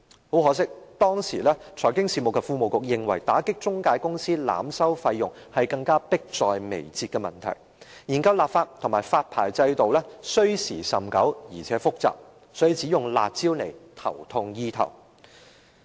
很可惜，當時財經事務及庫務局認為打擊中介公司濫收費用是更迫在眉睫的問題，研究立法和發牌制度需時甚久，而且複雜，所以只用"辣招"頭痛醫頭。